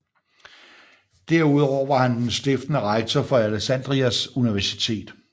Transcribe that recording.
Derudover var han den stiftende rektor for Alexandrias Universitet